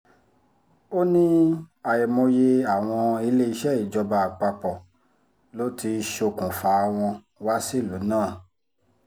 ó ní àìmọye àwọn iléeṣẹ́ ìjọba àpapọ̀ ló ti ṣokùnfà wọn wá sílùú náà